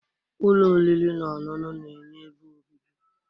ụlọ oriri na ọṅụṅụ na-enye ebe obibi